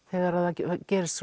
þegar það gerist